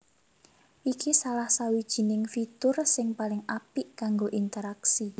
Iki salah sawijining fitur sing paling apik kanggo interaksi